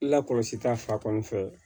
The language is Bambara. La kɔlɔsi ta fan fɛ